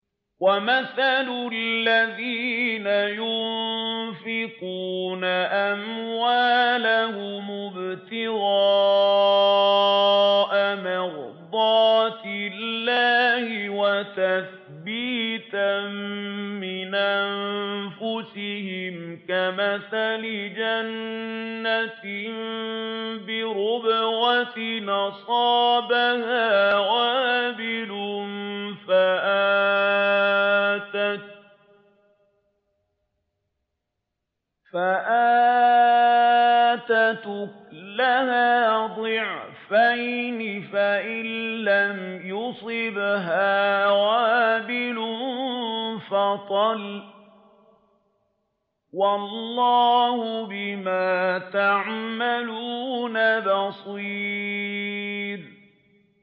وَمَثَلُ الَّذِينَ يُنفِقُونَ أَمْوَالَهُمُ ابْتِغَاءَ مَرْضَاتِ اللَّهِ وَتَثْبِيتًا مِّنْ أَنفُسِهِمْ كَمَثَلِ جَنَّةٍ بِرَبْوَةٍ أَصَابَهَا وَابِلٌ فَآتَتْ أُكُلَهَا ضِعْفَيْنِ فَإِن لَّمْ يُصِبْهَا وَابِلٌ فَطَلٌّ ۗ وَاللَّهُ بِمَا تَعْمَلُونَ بَصِيرٌ